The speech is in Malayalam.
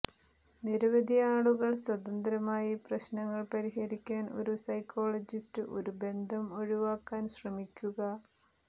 നിരവധി ആളുകൾ സ്വതന്ത്രമായി പ്രശ്നങ്ങൾ പരിഹരിക്കാൻ ഒരു സൈക്കോളജിസ്റ്റ് ഒരു ബന്ധം ഒഴിവാക്കാൻ ശ്രമിക്കുക